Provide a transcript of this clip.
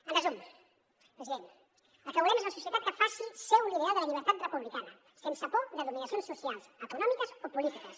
en resum president el que volem és una societat que faci seu l’ideal de la llibertat republicana sense por de dominacions socials econòmiques o polítiques